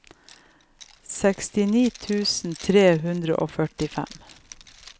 sekstini tusen tre hundre og førtifem